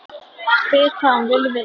Spyr hvað hún vilji vita.